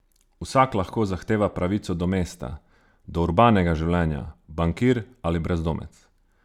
Vsak lahko zahteva pravico do mesta, do urbanega življenja, bankir ali brezdomec.